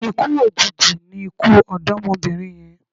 Ikú òjijì ni ikú ọ̀dọ́mọbìnrin yẹn